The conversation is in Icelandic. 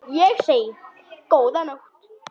Ég segi: Góða nótt!